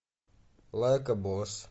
лайка босс